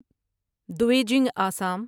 دویجنگ Assam